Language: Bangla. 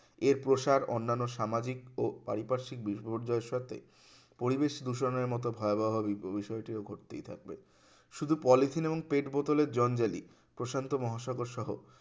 এর প্রসার অন্যান্য সামাজিক ও পারিপার্শ্বিক বিপর্যয়ের সাথে পরিবেশ দূষণের মতো ভয়াবহ বি~বিষয়টি ও ঘটতেই থাকবে শুধু পলিথিন এবং পেট বোতলের জঞ্জালী প্রশান্ত মহাসাগর সহ